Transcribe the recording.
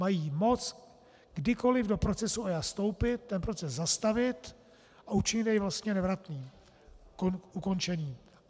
Mají moc kdykoliv do procesu EIA vstoupit, ten proces zastavit a učinit jej vlastně nevratným, ukončeným.